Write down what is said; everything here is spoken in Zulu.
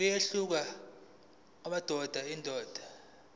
kuyehluka kudaba nodaba